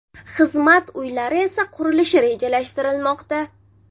Xizmat uylari esa qurilishi rejalashtirilmoqda.